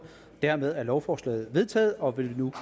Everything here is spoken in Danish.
dermed er lovforslaget vedtaget og vil nu